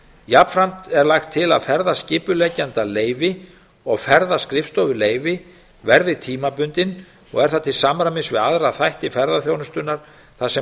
jafnframt er lagt til að ferðaskipuleggjandaleyfi og ferðaskrifstofuleyfi verði tímabundin og er það til samræmi við aðra þætti ferðaþjónustunnar þar sem